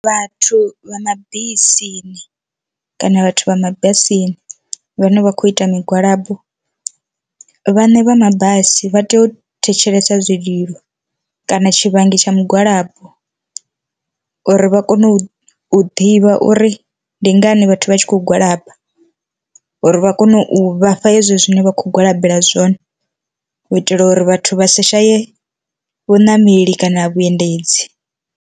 Vhathu vha mabisini kana vhathu vha mabasini vhane vha khou ita migwalabo, vhane vha mabasi vha tea u thetshelesa zwililo kana tshivhangi tsha migwalabo, uri vha kone u ḓivha uri ndi ngani vhathu vha tshi khou gwalaba, uri vha kone u vhafha hezwo zwine vha kho gwalabelwa zwone, u itela uri vhathu vha si shaye vhuṋameli kana vhuendedzi.